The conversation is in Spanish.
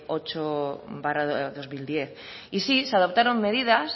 ocho barra dos mil diez y sí se adoptaron medidas